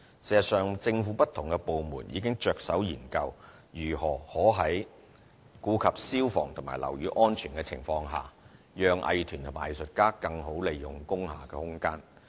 事實上，政府不同部門已着手研究如何可在顧及消防和樓宇安全的情況下，讓藝團和藝術家更好利用工廈空間。